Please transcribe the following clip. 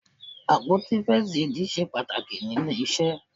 Àpótí First Aid ṣe pàtàkì níle iṣẹ́.